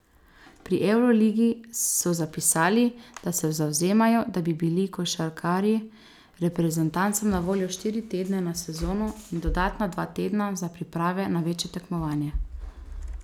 Pri evroligi so zapisali, da se zavzemajo, da bi bili košarkarji reprezentancam na voljo štiri tedne na sezono in dodatna dva tedna za priprave na večje tekmovanje.